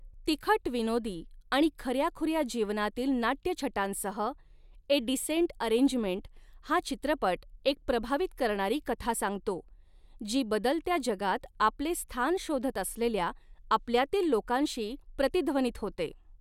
तिखट विनोदी आणि खऱ्याखुऱ्या जीवनातील नाट्यछटांसह, 'ए डिसेंट अरेंजमेंट' हा चित्रपट एक प्रभावित करणारी कथा सांगतो, जी बदलत्या जगात आपले स्थान शोधत असलेल्या आपल्यातील लोकांशी प्रतिध्वनित होते.